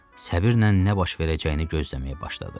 Səbirlə nə baş verəcəyini gözləməyə başladı.